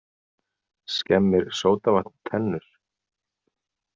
Skemmir sódavatn tennur?